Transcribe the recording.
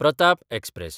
Pratap express